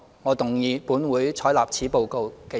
我動議"本會採納此報告"的議案。